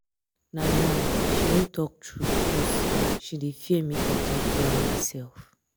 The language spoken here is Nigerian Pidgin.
na lie she no talk true um because she dey um fear make i um talk to am myself